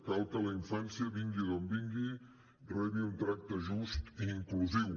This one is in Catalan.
cal que la infància vingui d’on vingui rebi un tracte just i inclusiu